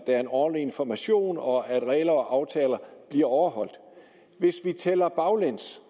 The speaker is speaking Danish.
er en ordentlig information og at regler og aftaler bliver overholdt hvis vi tæller baglæns